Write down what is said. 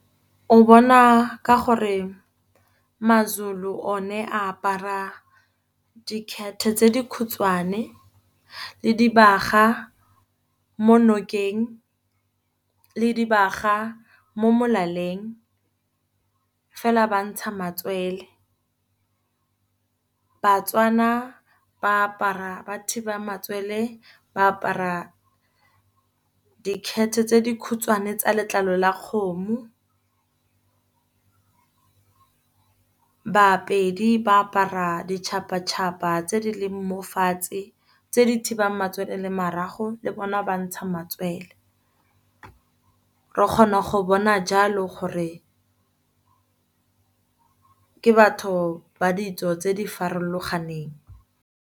O bona ka gore maZulu o ne a apara dikhete tse dikhutshwane, le dibaga mo nokeng, le dibaga mo molaleng. Fela ba ntsha matswele, Batswana ba apara ba thiba matswele ba apara dikhete tse dikhutshwane tsa letlalo la kgomo. Bapedi ba apara ditšhapa-tšhapa tse di leng mofatshe, tse di thibang matswele le marago. Le bona ba ntsha matswele, re kgona go bona jalo gore ke batho ba ditso tse di farologaneng.